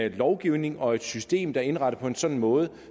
en lovgivning og et system der er indrettet på en sådan måde